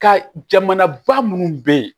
Ka jamanaba munnu be ye